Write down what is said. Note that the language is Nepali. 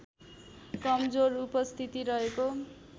कमजोर उपस्थिति रहेको